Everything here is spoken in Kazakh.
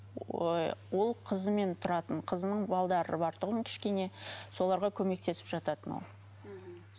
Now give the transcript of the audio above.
ол қызымен тұратын балдары бар тұғын кішкене соларға көмектесіп жататын ол мхм